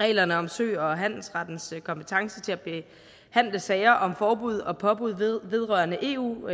reglerne om sø og handelsrettens kompetence til at behandle sager om forbud og påbud vedrørende eu